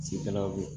Sigidala